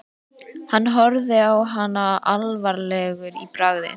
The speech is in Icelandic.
Hann horfir á hana alvarlegur í bragði.